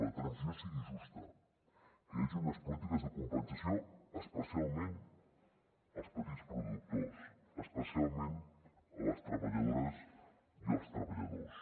la transició sigui justa que hi hagi unes polítiques de compensació especialment als petits productors especialment a les treballadores i als treballadors